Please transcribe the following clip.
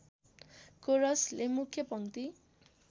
कोरसले मुख्य पङ्क्ति